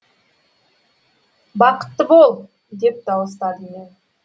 бақытты бол деп дауыстадым мен